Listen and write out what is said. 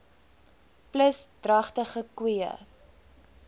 plus dragtige koeie